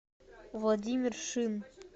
владимир шин